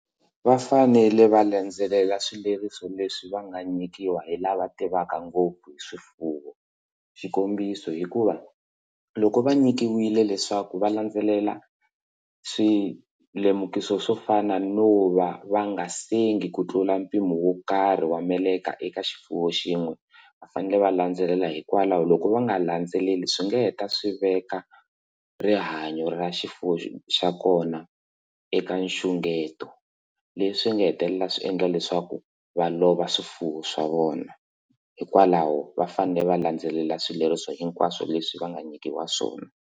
Va fanele va landzelela swileriso leswi va nga nyikiwa hi lava tivaka ngopfu hi swifuwo xikombiso hikuva loko va nyikiwile leswaku va landzelela swilemukiso swo fana no va va nga sengi ku tlula mpimo wo karhi wa meleka eka xifuwo xin'we va fanele va landzelela hikwalaho loko va nga landzeleli swi nga heta swi veka rihanyo ra xifuwo xa kona eka nxungeto leswi nga hetelela swi endla leswaku va lova swifuwo swa vona hikwalaho vafanele va landzelela swileriso hinkwaswo leswi va nga nyikiwa swona.